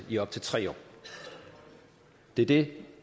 i op til tre år det er det